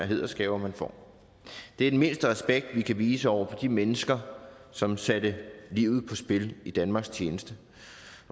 hædersgaver man får det er den mindste respekt vi kan vise over for de mennesker som satte livet på spil i danmarks tjeneste